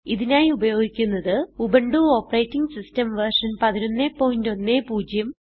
ഇതിനായി ഉപയോഗിക്കുന്നത് Ubuntu operating system version 1110